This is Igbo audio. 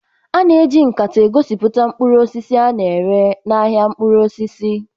A na-eji nkata egosipụta mkpụrụ osisi a na-ere n'ahịa mkpụrụ osisi